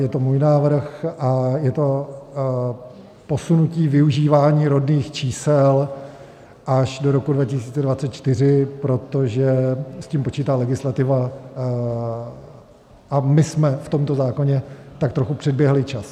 Je to můj návrh a je to posunutí využívání rodných čísel až do roku 2024, protože s tím počítá legislativa a my jsme v tomto zákoně tak trochu předběhli čas.